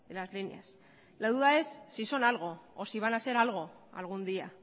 las líneas la duda es si son algo o si van a ser algo algún día